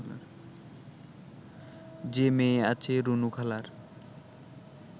যে মেয়ে আছে রুনুখালার